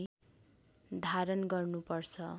धारण गर्नुपर्छ